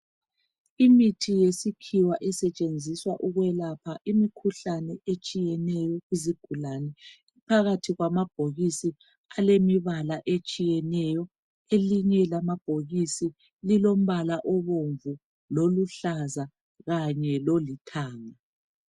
Imithi yesikhiwa esetshenziswa ukwelapha imikhuhlane etshiyeneyo esetshenziswa kuzigulane. Iphakathi kwamabhokisi alemibala etshiyeneyo. Elinye lamabhokisi lilombala obomvu loluhlaza kanye lolithanga.